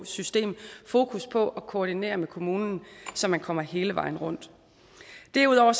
system fokus på at koordinere med kommunen så man kommer hele vejen rundt derudover